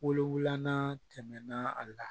Wowulan tɛmɛna a la